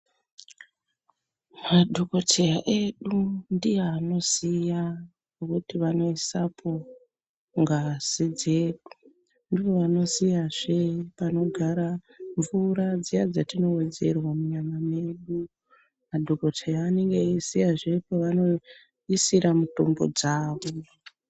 Madhokoteya edu ndiye anoziya kuti vano isapo ngazi dzedu ndivo vanoziya zvee panogara mvura dziya dzatino wedzerwa munyama medu madhokoteya anenge eyi ziya zvee paano isira mutombo dzavo.